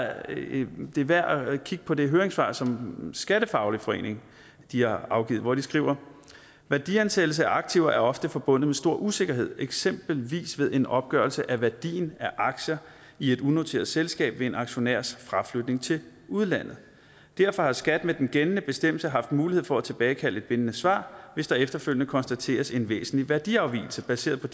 alligevel det er værd at kigge på det høringssvar som srf skattefaglig forening har afgivet hvor de skriver værdiansættelse af aktiver er ofte forbundet med stor usikkerhed eksempelvis ved en opgørelse af værdien af aktier i et unoteret selskab ved en aktionærs fraflytning til udlandet derfor har skat med den gældende bestemmelse haft mulighed for at tilbagekalde et bindende svar hvis der efterfølgende konstateres en væsentlig værdiafvigelse baseret på